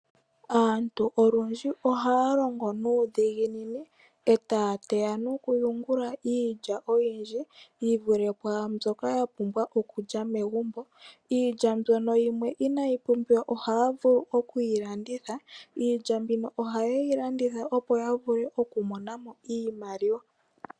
Aantu olundji oha ya longo nuudhiginini eta ya teya nokuyungula iilya oyindji yivule kwaambyoka ya pumbwa okulya megumbo. Iilya mbyono yimwe inaayi pumbiwa oha ya vulu oku yilanditha . Iilya mbino oha ye yi landitha opo ya vule okumona mo iimaliwa.